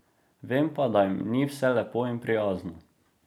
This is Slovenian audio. Vem pa, da jim ni vse lepo in prijazno.